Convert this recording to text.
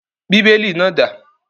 Bíbélì náà dà?